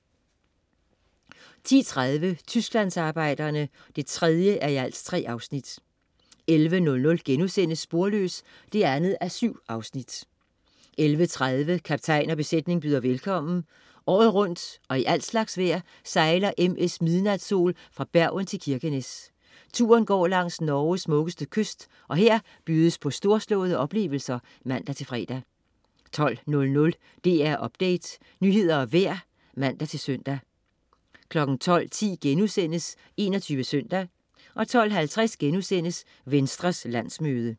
10.30 Tysklandsarbejderne 3:3 11.00 Sporløs 2:7* 11.30 Kaptajn og besætning byder velkommen. Året rundt og i al slags vejr sejler MS Midnatsol fra Bergen til Kirkenes. Turen går langs Norges smukkeste kyst, og her bydes på storslåede oplevelser (man-fre) 12.00 DR Update. Nyheder og vejr (man-søn) 12.10 21 Søndag* 12.50 Venstres landsmøde*